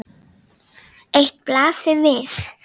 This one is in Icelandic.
Eitt blasir við.